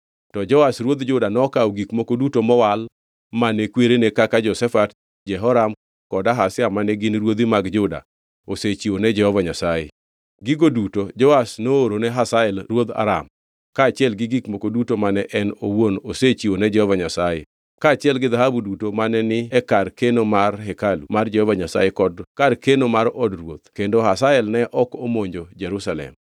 To Joash ruodh Juda nokawo gik moko duto mowal mane kwerene kaka Jehoshafat, Jehoram kod Ahazia mane gin ruodhi mag Juda osechiwo ne Jehova Nyasaye. Gigo duto Joash noorone Hazael ruodh Aram, kaachiel gi gik moko duto mane en owuon osechiwo ne Jehova Nyasaye; kaachiel gi dhahabu duto mane ni e kar keno mar hekalu mar Jehova Nyasaye kod kar keno mar od ruoth kendo Hazael ne ok omonjo Jerusalem.